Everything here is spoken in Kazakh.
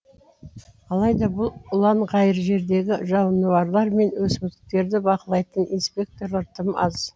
алайда бұл ұланғайыр жердегі жануарлар мен өсімдіктерді бақылайтын инспекторлар тым аз